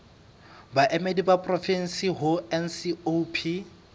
baemedi ba porofensi ho ncop